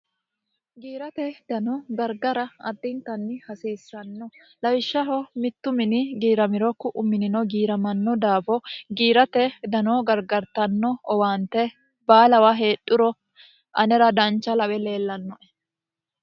giirate dano gargara addintanni hasiissanno lawishshaho mittu mini giiramiro ku'u minino giiramanno daafo giirate dano gargartanno owaante baalawa heedhuro anera dancha lawe leellannoe